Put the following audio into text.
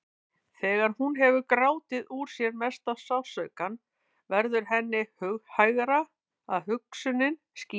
Þegar hún hefur grátið úr sér mesta sársaukann verður henni hughægra og hugsunin skýrist.